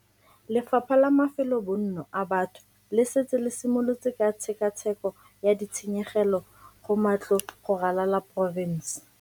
Lefapha la Mafelobonno a Batho le setse le simolotse ka tshekatsheko ya ditshenyegelo go matlo go ralala porofense.